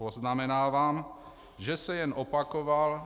Poznamenávám, že se jen opakoval.